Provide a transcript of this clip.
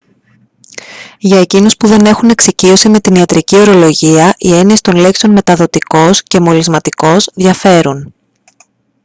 για εκείνους που δεν έχουν εξοικείωση με την ιατρική ορολογία οι έννοιες των λέξεων «μεταδοτικός» και «μολυσματικός» διαφέρουν